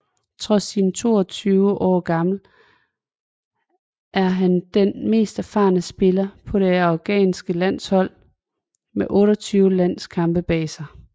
Trods sin 22 år gammel er han den mest erfaren spiller på det afghanske landshold med 28 landskampe bag sig